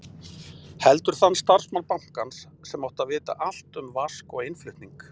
Heldur þann starfsmann bankans sem átti að vita allt um vask og innflutning.